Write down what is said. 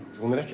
hún er ekki